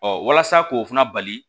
walasa k'o fana bali